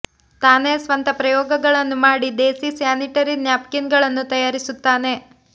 ತಾನೇ ಸ್ವಂತ ಪ್ರಯೋಗಗಳನ್ನು ಮಾಡಿ ದೇಸೀ ಸ್ಯಾನಿಟರಿ ನ್ಯಾಪ್ಕಿನ್ ಗಳನ್ನು ತಯಾರಿಸುತ್ತಾನೆ